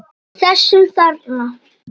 Þessum þarna!